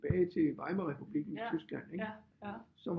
Tilbage til Weimarrepublikken i Tyskland ikke så